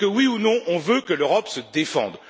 Oui ou non, veut on que l'Europe se défende?